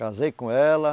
Casei com ela.